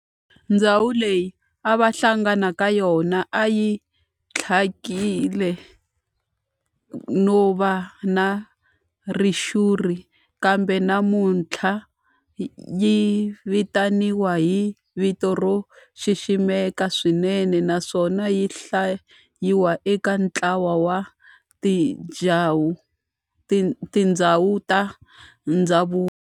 Ndhawu leyi a va hlangana ka yona a yi thyakile no va na ritshuri kambe namuntlha yi vitaniwa hi vito ro xiximeka swinene naswona yi hlayiwa eka ntlawa wa tindhawu ta ndhavuko.